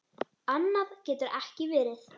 Annað getur ekki verið.